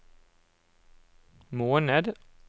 måned